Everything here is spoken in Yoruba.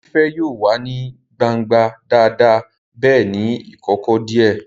Fífẹ́ yóò wà ní gbangba dáadáa bẹ́ẹ̀ ní ìkọ̀kọ̀ díẹ̀